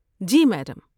جی، madam.